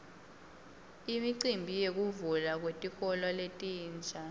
imicimbi yekuvulwa kwetikolo letintsa